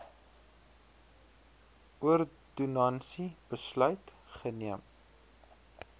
ordonnansie besluit geneem